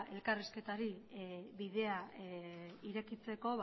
elkarrizketari bidea irekitzeko